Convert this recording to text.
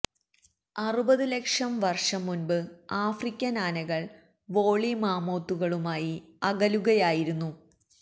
അറുപത് ലക്ഷം വർഷം മുൻപ് ആഫ്രിക്കൻ ആനകൾ വോള്ളി മാമോത്തുകളുമായി അകലുകയായിരുന്നു